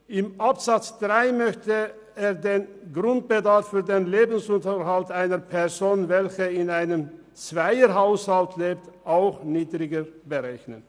In Absatz 3 möchte der Regierungsrat den Grundbedarf für den Lebensunterhalt einer Person, die in einem Zweierhaushalt lebt, ebenfalls niedriger berechnen.